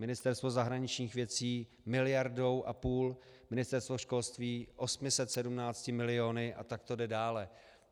Ministerstvo zahraničních věcí miliardou a půl, Ministerstvo školství 817 miliony a tak to jde dále.